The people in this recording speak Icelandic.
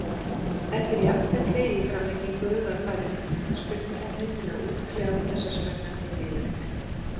Eftir jafntefli í framlengingu var farið í vítaspyrnukeppni til að útkljá þessa spennandi viðureign.